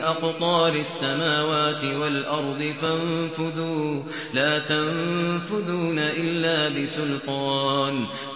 أَقْطَارِ السَّمَاوَاتِ وَالْأَرْضِ فَانفُذُوا ۚ لَا تَنفُذُونَ إِلَّا بِسُلْطَانٍ